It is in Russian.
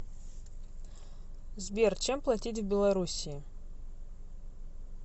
сбер чем платить в белоруссии